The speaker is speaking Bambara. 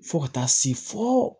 Fo ka taa se fɔ